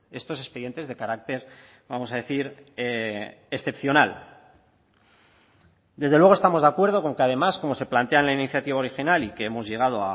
estos expedientes de carácter vamos a decir excepcional desde luego estamos de acuerdo con que además como se plantea en la iniciativa original y que hemos llegado